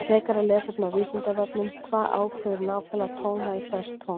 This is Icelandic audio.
Frekara lesefni á Vísindavefnum Hvað ákveður nákvæmlega tónhæð hvers tóns?